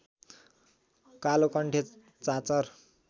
कालोकण्ठे चाँचर